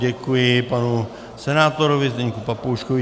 Děkuji panu senátorovi Zdenku Papouškovi.